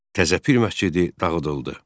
Təzə Pir məscidi dağıdıldı.